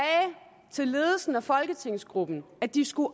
til ledelsen og folketingsgruppen at de skulle